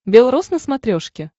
бел роз на смотрешке